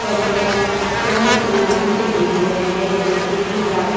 auto को क्रम से लाइन से भेज रहे हैं जैसे कि ट्रैफिक --